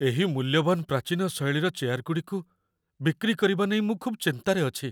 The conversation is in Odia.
ଏହି ମୂଲ୍ୟବାନ ପ୍ରାଟୀନ ଶୈଳୀର ଚେୟାରଗୁଡ଼ିକୁ ବିକ୍ରି କରିବା ନେଇ ମୁଁ ଖୁବ୍ ଚିନ୍ତାରେ ଅଛି।